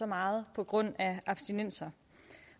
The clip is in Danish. meget på grund af abstinenser